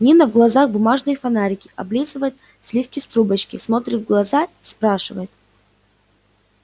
нина в глазах бумажные фонарики облизывает сливки с трубочки смотрит в глаза спрашивает